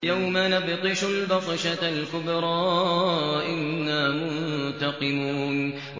يَوْمَ نَبْطِشُ الْبَطْشَةَ الْكُبْرَىٰ إِنَّا مُنتَقِمُونَ